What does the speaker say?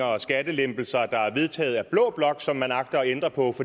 og skattelempelser der er vedtaget af blå blok som man agter at ændre på